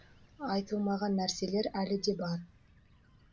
айтылмаған нәрселер әлі де бар